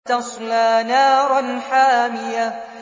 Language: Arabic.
تَصْلَىٰ نَارًا حَامِيَةً